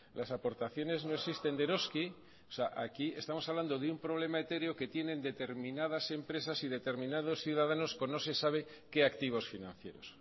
las aportaciones no existen de eroski o sea aquí estamos hablando de un problema etéreo que tienen determinadas empresas y determinados ciudadanos con no se sabe qué activos financieros